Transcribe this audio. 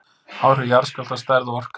Áhrif jarðskjálfta, stærð og orka